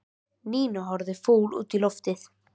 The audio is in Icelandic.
Nína horfði fúl út í loftið.